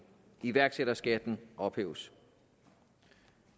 iværksætterskatten ophæves